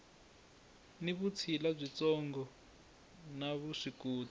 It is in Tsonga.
ni vutshila byitsongo na vuswikoti